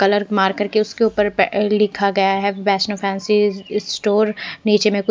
colour मार कर के उसके ऊपर लिखा गया हैं वैष्णो फैंसी स्टोअर नीचे में कुछ--